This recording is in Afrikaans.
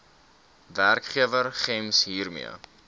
werkgewer gems hiermee